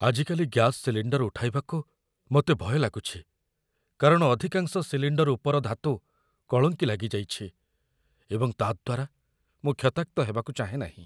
ଆଜିକାଲି gas cylinder ଉଠାଇବାକୁ ମୋତେ ଭୟ ଲାଗୁଛି, କାରଣ ଅଧିକାଂଶ ସିଲିଣ୍ଡର ଉପର ଧାତୁ କଳଙ୍କି ଲାଗିଯାଇଛି ଏବଂ ତା' ଦ୍ଵାରା ମୁଁ କ୍ଷତାକ୍ତ ହେବାକୁ ଚାହେଁନାହିଁ।